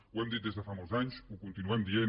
ho hem dit des de fa molts anys ho continuem dient